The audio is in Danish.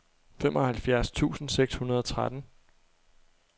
femoghalvfjerds tusind seks hundrede og tretten